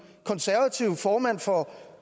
konservative formand for